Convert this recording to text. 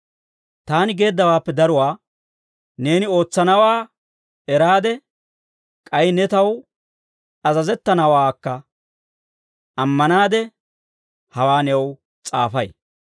Taani geeddawaappe daruwaa neeni ootsanaawaa eraade, k'ay ne taw azazettanawaakka ammanaade, hawaa new s'aafay.